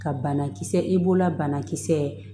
Ka banakisɛ i b'o la banakisɛ